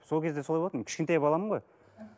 сол кезде солай болатын кішкентай баламын ғой